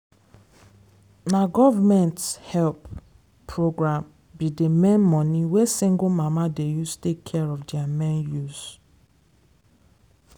na government help program be d main money wey single mama dey use take care of their main use.